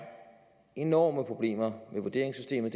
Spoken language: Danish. enorme problemer med vurderingssystemet